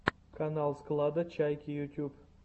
канал склада чайки ютуб